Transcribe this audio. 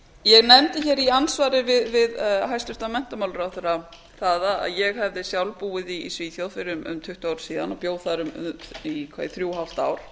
ég nefndi í andsvari við hæstvirtan menntamálaráðherra það að ég hefði sjálf búið í svíþjóð fyrir um tuttugu árum síðan og bjó þar í þrjú og hálft ár